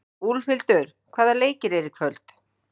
Úlfhildur, hvaða leikir eru í kvöld?